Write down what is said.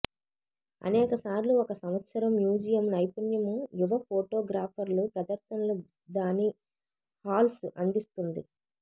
అనేక సార్లు ఒక సంవత్సరం మ్యూజియం నైపుణ్యం యువ ఫోటోగ్రాఫర్లు ప్రదర్శనలు దాని హాల్స్ అందిస్తుంది